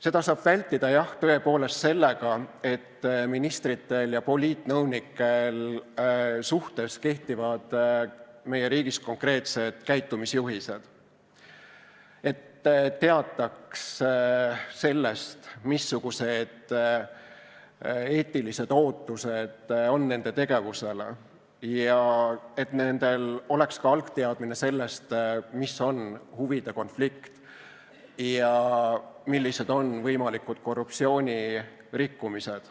Seda saab vältida, jah, tõepoolest sellega, et ministrite ja poliitnõunike suhtes kehtivad meie riigis konkreetsed käitumisjuhised, et teatakse sellest, missugused eetilised ootused on nende tegevusele ja et nendel on ka algteadmine sellest, mis on huvide konflikt ja millised on võimalikud korruptsioonilised rikkumised.